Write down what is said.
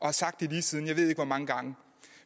har sagt det lige siden jeg ved ikke hvor mange gange